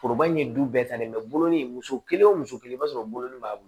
Foroba in ye du bɛɛ ta ye bolonin in muso kelen wo muso kelen i b'a sɔrɔ bulon b'a bolo